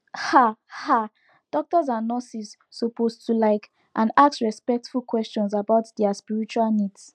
ah ah doctors and nurses suppose to like and ask respectful questions about dia spiritual needs